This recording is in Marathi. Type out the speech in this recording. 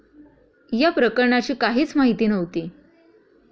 या प्रकरणाची काहीच माहिती नव्हती.